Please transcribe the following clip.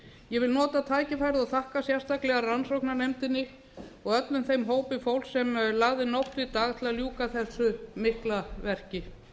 ég vil nota tækifærið og þakka sérstaklega rannsóknarnefndinni og öllum þeim hópi fólks sem lagði nótt við dag til að ljúka þessu mikla verki